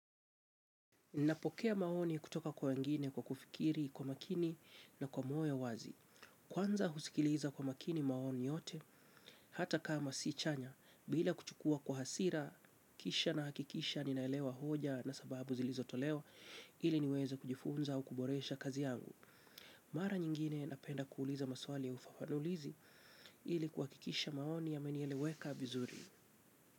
Napokea maoni kutoka kwa wengine kwa kufikiri, kwa makini na kwa moyo wazi. Kwanza husikiliza kwa makini maoni yote, hata kama si chanya, bila kuchukua kwa hasira, kisha nahakikisha ninaelewa hoja na sababu zilizotolewa ili niweza kujifunza au kuboresha kazi yangu. Mara nyingine napenda kuuliza maswali ya ufafanulizi ili kwahakikisha maoni ya menieleweka vizuri.